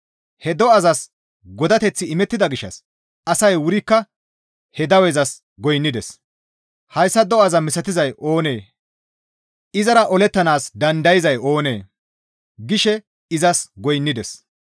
He do7azas godateththi imettida gishshas asay wurikka he dawezas goynnides. «Hayssa do7aza misatizay oonee? Izara olettanaas dandayzay oonee?» gishe izas goynnides.